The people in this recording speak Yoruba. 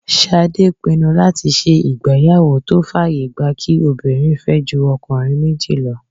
Ṣadé pinnu láti ṣe ìgbéyàwó tó fàyè gba kí obìnrin fẹ́ ju ọkùnrin méjì lọ